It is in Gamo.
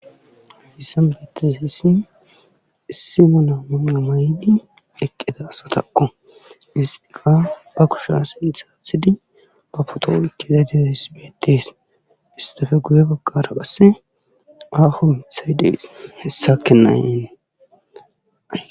Hayssan utizayssati issi mala mayo mayidi eqqida asatakko hssati ba kushiya ba sinththa aathidi ba pooto oykkidadayssi beetees beeetees istappe goye bagara aaho miththa dees. issake nay